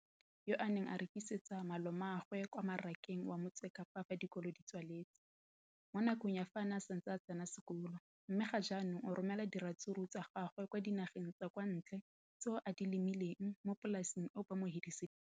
Leno le thusitse batho ba ba jaaka Wayne Mansfield, 33, wa kwa Paarl, yo a neng a rekisetsa malomagwe kwa Marakeng wa Motsekapa fa dikolo di tswaletse, mo nakong ya fa a ne a santse a tsena sekolo, mme ga jaanong o romela diratsuru tsa gagwe kwa dinageng tsa kwa ntle tseo a di lemileng mo polaseng eo ba mo hiriseditseng yona.